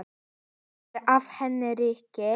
Sleikja af henni rykið.